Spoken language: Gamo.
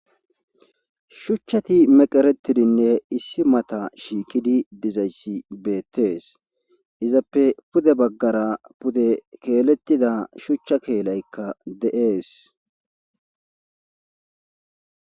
shuchchati meqeretidinne issi mata shiikidi dizayssi beettees izappe pude baggara pude keelettida shuchcha keelaykka de7ees